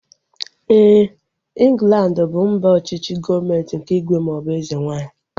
Éè, Inglandi bụ mba ọchịchị gọọmenti nke ígwè maọbụ eze nwaanyị